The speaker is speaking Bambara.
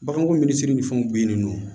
Baganko min siri ni fɛnw bɛ yen nɔ